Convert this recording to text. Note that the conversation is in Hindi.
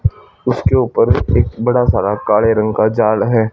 उसके ऊपर एक बड़ा सारा काले रंग का जाल है।